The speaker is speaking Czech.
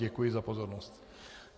Děkuji za pozornost.